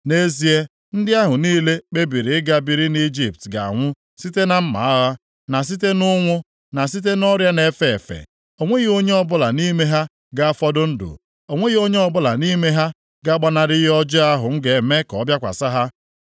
Nʼezie, ndị ahụ niile kpebiri ịga biri nʼIjipt ga-anwụ site na mma agha, na site nʼụnwụ, na site nʼọrịa na-efe efe. O nweghị onye ọbụla nʼime ha ga-afọdụ ndụ, o nweghị onye ọbụla nʼime ha ga-agbanarị ihe ọjọọ ahụ m ga-eme ka ọ bịakwasị ha.’